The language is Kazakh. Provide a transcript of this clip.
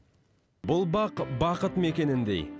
бұл бақ бақыт мекеніндей